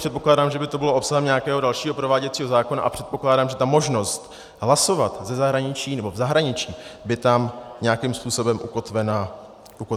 Předpokládám, že by to bylo obsahem nějakého dalšího prováděcího zákona, a předpokládám, že ta možnost hlasovat v zahraničí by tam nějakým způsobem ukotvena byla.